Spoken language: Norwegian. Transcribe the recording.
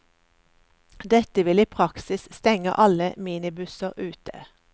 Dette vil i praksis stenge alle minibusser ute.